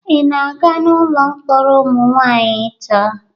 Ị na-aga n'ụlọ mkpọrọ ụmụ nwanyị taa?